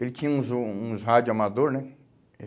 Ele tinha uns jo uns rádio amador, né?